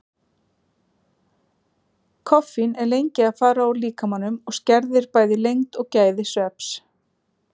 Koffín er lengi að fara úr líkamanum og skerðir bæði lengd og gæði svefns.